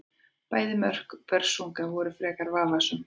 Bæði mörk Börsunga voru frekar vafasöm.